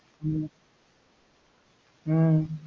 உம் உம்